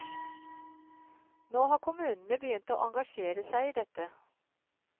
Nå har kommunene begynt å engasjere seg i dette.